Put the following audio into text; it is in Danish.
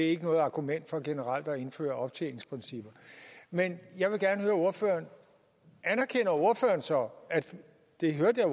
ikke noget argument for generelt at indføre optjeningsprincipper men jeg vil gerne høre ordføreren så det hørte jeg